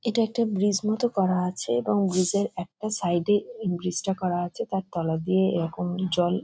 এটা একটা ব্রিজ মতো করা আছে এবং ব্রিজ -এর একটা সাইড -এ ব্রিজ -টা করা আছে তার তলা দিয়ে এরকম জল --